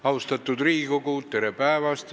Austatud Riigikogu, tere päevast!